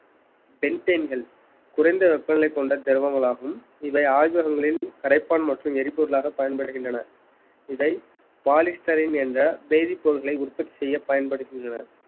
pentane கள் குறைந்த வெப்பநிலை கொண்ட திரவங்களாகும் இவை ஆய்வகங்களில் கரைப்பான் மற்றும் எரிபொருளாக பயன்படுகின்றன இதை polysterin என்ற வேதிப்பொருட்களை உற்பத்தி செய்ய பயன்படுகின்றன.